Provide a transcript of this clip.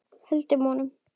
Höldum honum!